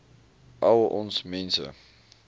al ons mense